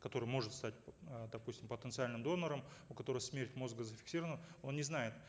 который может стать э допустим потенциальным донором у которого смерть мозга зафиксирована он не знает